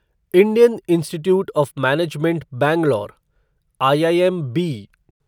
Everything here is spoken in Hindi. Indian Institute of Management Bangalore IIMB